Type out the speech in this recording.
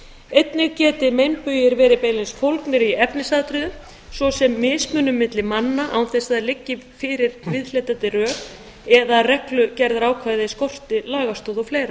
einnig geti meinbugir verið beinlínis fólgnir í efnisatriðum svo sem mismunun milli manna án þess að það liggi fyrir viðhlítandi rök eða að reglugerðarákvæði skorti lagastoð og fleiri